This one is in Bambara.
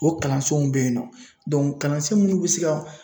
O kalansenw bɛ yen nɔ kalansen minnu bɛ se ka